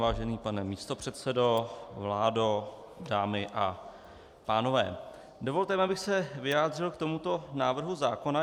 Vážený pane místopředsedo, vládo, dámy a pánové, dovolte mi, abych se vyjádřil k tomuto návrhu zákona.